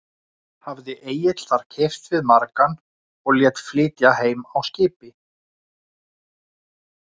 Hafði Egill þar keypt við margan og lét flytja heim á skipi.